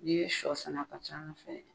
N'i ye sɔ sɛnɛ a ka ca an fɛ yan.